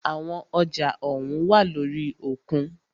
Àwọn ọjà ohùn wá lórí òkun.